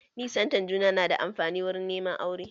Nisanta juna na da amfani wuri neman aure